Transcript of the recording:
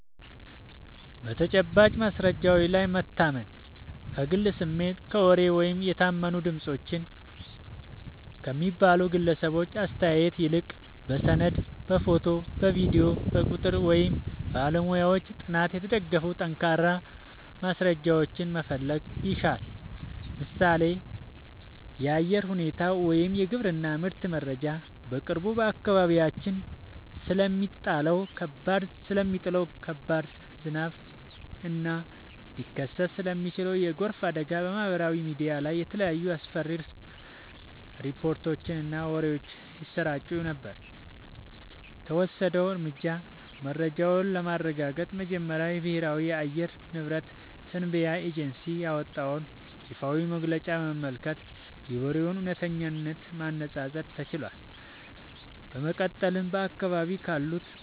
በተጨባጭ ማስረጃዎች ላይ መታመን፦ ከግል ስሜት፣ ከወሬ ወይም "የታመኑ ድምፆች" ከሚባሉ ግለሰቦች አስተያየት ይልቅ፣ በሰነድ፣ በፎቶ፣ በቪዲዮ፣ በቁጥር ወይም በባለሙያዎች ጥናት የተደገፉ ጠንካራ ማስረጃዎችን መፈለግ ይሻላል። ምሳሌ (የአየር ሁኔታ ወይም የግብርና ምርት መረጃ)፦ በቅርቡ በአካባቢያችን ስለሚጣለው ከባድ ዝናብ እና ሊከሰት ስለሚችል የጎርፍ አደጋ በማህበራዊ ሚዲያ ላይ የተለያዩ አስፈሪ ሪፖርቶችና ወሬዎች ሲሰራጩ ነበር። የተወሰደው እርምጃ፦ መረጃውን ለማረጋገጥ መጀመሪያ የብሔራዊ የአየር ንብረት ትንበያ ኤጀንሲ ያወጣውን ይፋዊ መግለጫ በመመልከት የወሬውን እውነተኝነት ማነፃፀር ተችሏል። በመቀጠልም በአካባቢው ካሉ